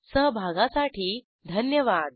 सहभागासाठी धन्यवाद